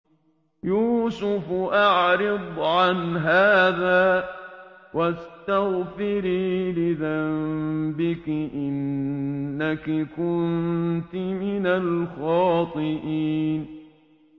يُوسُفُ أَعْرِضْ عَنْ هَٰذَا ۚ وَاسْتَغْفِرِي لِذَنبِكِ ۖ إِنَّكِ كُنتِ مِنَ الْخَاطِئِينَ